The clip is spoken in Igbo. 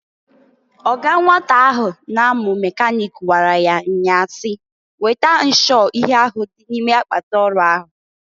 Ọga nwata ahụ na-amụ mekanịk gwara ya nnya a si, "Weta nshụọ ihe ahụ dị ime akpatị ọrụ ahụ!"